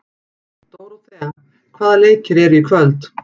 Dóróthea, hvaða leikir eru í kvöld?